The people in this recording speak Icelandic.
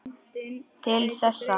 Til þessa.